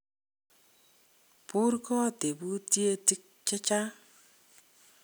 Borgot tebutietik chechang.